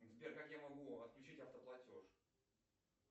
сбер как я могу отключить автоплатеж